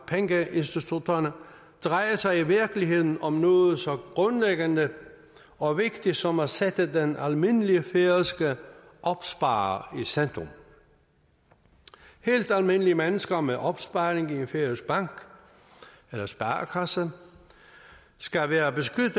pengeinstitutterne drejer sig i virkeligheden om noget så grundlæggende og vigtigt som at sætte den almindelige færøske opsparer i centrum helt almindelige mennesker med opsparing i en færøsk bank eller sparekasse skal være beskyttet